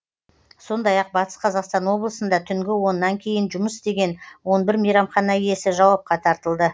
сондай ақ батыс қазақстан облысында түнгі оннан кейін жұмыс істеген он бір мейрамхана иесі жауапқа тартылды